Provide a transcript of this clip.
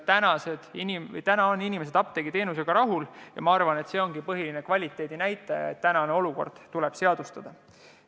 Täna on inimesed apteegiteenusega rahul ja ma arvan, et see ongi põhiline kvaliteedinäitaja, nii et praegune olukord tuleb seadustada.